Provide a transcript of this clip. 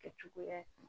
Kɛcogoya ye